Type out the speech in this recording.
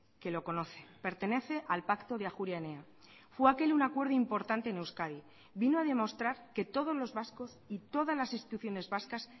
que lo conoce pertenece al pacto de ajuria enea fue aquel un acuerdo importante en euskadi vino a demostrar que todos los vascos y todas las instituciones vascas